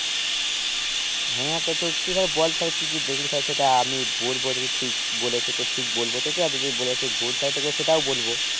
হ্যাঁ তো তুই তো বল তালে কি কি দেখলি সেটা আমি বলবো যদি ঠিক বলেছিস ঠিক বলবো তোকে আর যদি তোকে বলেছে ভুল তালে তোকে সেটাও বলবো